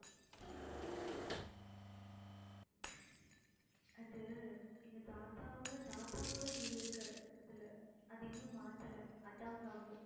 அது எங்க தாத்தாவோட தாத்தாவோட name இருக்கு அதுல அதை இன்னும் மாத்தல அதான் problem